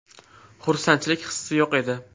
Xursandchilik hissi yo‘q edi.